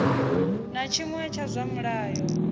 na tshiṅwe tsha zwa mulayo